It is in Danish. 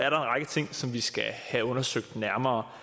en række ting som vi skal have undersøgt nærmere